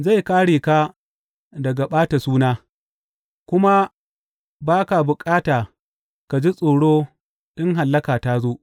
Zai kāre ka daga ɓata suna, kuma ba ka bukata ka ji tsoro in hallaka ta zo.